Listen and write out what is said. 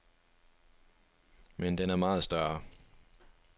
Men den er meget større.